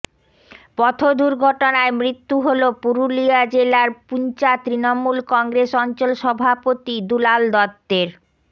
পথদুর্ঘটনায় মৃত্যু হল পুরুলিয়া জেলার পুঞ্চা তৃণমূল কংগ্রেস অঞ্চল সভাপতি দুলাল দত্তের